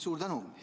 Suur tänu!